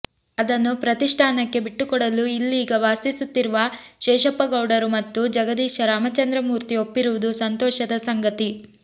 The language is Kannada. ಅದನ್ನು ಪ್ರತಿಷ್ಠಾನಕ್ಕೆ ಬಿಟ್ಟುಕೊಡಲು ಇಲ್ಲೀಗ ವಾಸಿಸುತ್ತಿರುವ ಶೇಷಪ್ಪಗೌಡರು ಮತ್ತು ಜಗದೀಶ ರಾಮಚಂದ್ರಮೂರ್ತಿ ಒಪ್ಪಿರುವುದು ಸಂತೋಷದ ಸಂಗತಿ